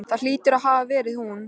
Það hlýtur að hafa verið hún.